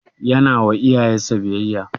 Yana wa iyayen sa biyayya?